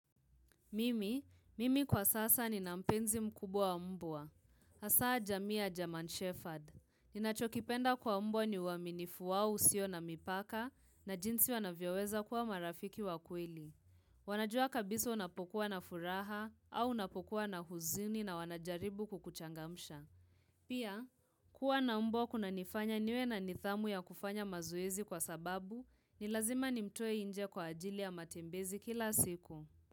Mimi, mimi kwa sasa ninampenzi mkubwa wa mbwa. Asa jamii ya German Shephard. Ninachokipenda kwa mbwa ni uaminifu wao usio na mipaka na jinsi wanavyoweza kuwa marafiki wa kweli. Wanajua kabisa unapokuwa na furaha au unapokuwa na huzini na wanajaribu kukuchangamsha. Pia, kuwa na mbwa kuna nifanya niwe na nithamu ya kufanya mazoezi kwa sababu ni lazima nimtoe inje kwa ajili ya matembezi kila siku.